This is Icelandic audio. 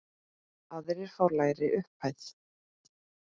Aðrir fá lægri upphæð.